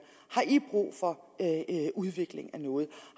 har i brug for udvikling af noget